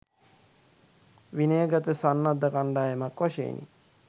විනය ගත සන්නද්ධ කණ්ඩායමක් වශයෙනි